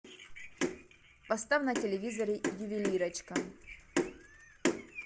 поставь на телевизоре ювелирочка